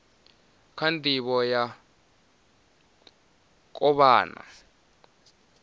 kha ndivho ya u kovhana